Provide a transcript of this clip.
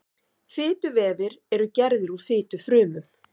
fituvefir eru gerðir úr fitufrumum